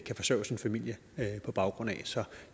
kan forsørge sin familie på baggrund af så